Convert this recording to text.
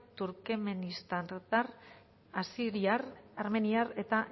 turkmenistartar asiriar armeniar eta